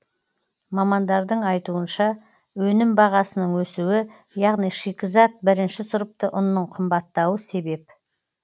мамандардың айтуынша өнім бағасының өсуі яғни шикізат бірінші сұрыпты ұнның қымбаттауы себеп